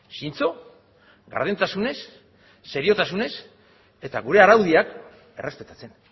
zintxo gardentasunez seriotasunez eta gure araudiak errespetatzen